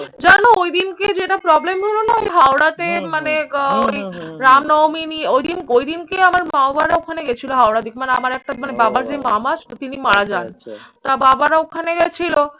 জানো ওই দিনকে যেটা problem হলো না আমি হাওড়াতে মানে রামনমিনী ঐদিন ঐদিনকে আমার মা-বাবারা ওখানে গেছিল হাওড়ার দিক। মানে আমার একটা বাবার যে মামা আছে তিনি মারা যান। তা বাবারা ওখানে গেছিল